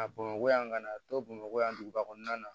A bamakɔ yan ka na to bamakɔ yan duguba kɔnɔna na